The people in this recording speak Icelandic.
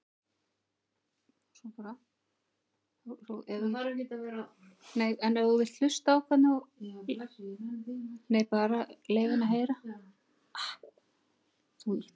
Ásgrímur: En er þetta mikið verri byrjun heldur en undanfarin ár?